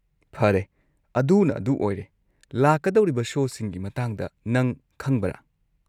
ꯐꯔꯦ ꯑꯗꯨꯅ ꯑꯗꯨ ꯑꯣꯏꯔꯦ, ꯂꯥꯛꯀꯗꯧꯔꯤꯕ ꯁꯣꯁꯤꯡꯒꯤ ꯃꯇꯥꯡꯗ ꯅꯪ ꯈꯪꯕ꯭ꯔꯥ?